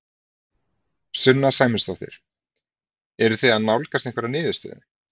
Sunna Sæmundsdóttir: Eruð þið að nálgast einhverja niðurstöðu?